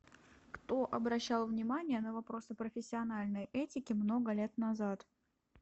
кто обращал внимание на вопросы профессиональной этики много лет назад